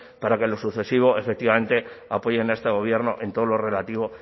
para que en lo sucesivo efectivamente apoyen a este gobierno en todo lo relativo